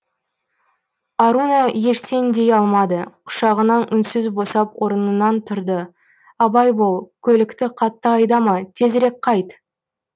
аруна ештең дей алмады құшағынан үнсіз босап орынынан тұрды абай бол көлікті қатты айдама тезірек қайт